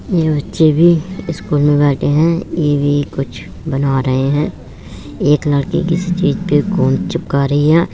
ये बच्चे भी ईस्कूल में बैठे हैं। ये भी कुछ बना रहे हैं। एक लड़की किसी चीज पे गोंद चिपका रही है।